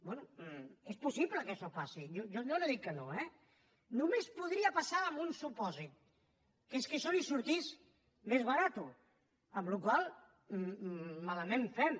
bé és possible que això passi jo no dic que no eh només podria passar en un supòsit que és que això li sortís més barat amb la qual cosa malament ho fem